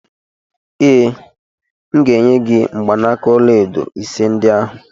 Ee, M ga-enye gị mgbanaka ọlaedo ise ndị ahụ.